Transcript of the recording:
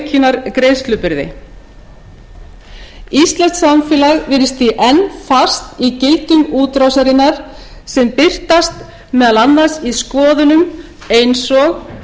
aukinnar greiðslubyrði íslenskt samfélag virðist því enn fast í gildru útrásarinnar sem birtast meðal annars í skoðunum eins og